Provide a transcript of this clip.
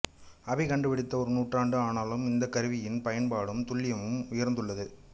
அபி கண்டுபிடித்து ஒரு நூற்றாண்டு ஆனாலும் இந்தக் கருவியின் பயன்பாடும் துல்லியமும் உயர்ந்துள்ளது